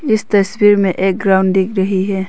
इस तस्वीर में एक ग्राउंड दिख रही है।